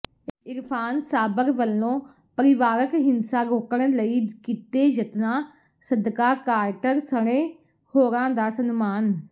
ਇਰਫ਼ਾਨ ਸਾਬਰ ਵੱਲੋਂ ਪਰਿਵਾਰਕ ਹਿੰਸਾ ਰੋਕਣ ਲਈ ਕੀਤੇ ਯਤਨਾਂ ਸਦਕਾ ਕਾਰਟਰ ਸਣੇ ਹੋਰਾਂ ਦਾ ਸਨਮਾਨ